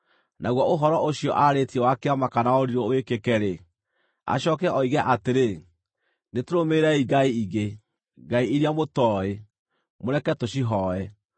naguo ũhoro ũcio aarĩtie wa kĩama kana wa ũrirũ wĩkĩke-rĩ, acooke oige atĩrĩ, “Nĩtũrũmĩrĩrei ngai ingĩ (ngai iria mũtooĩ) mũreke tũcihooe,”